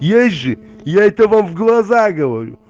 есть же я этого в глаза говорю